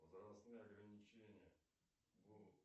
возрастные ограничения